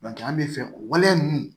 an bɛ fɛn o waleya ninnu